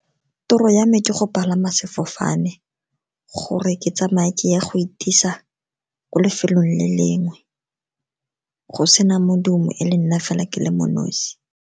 Toro ya me ke go palama sefofane gore ke tsamaye ke ya go itisa ko lefelong le lengwe, go sena modumo e le nna fela ke le mo nosi.